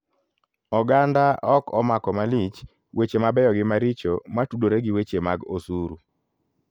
Oganda ok omako malich weche mabeyo gi maricho matudore gi weche mag osuru.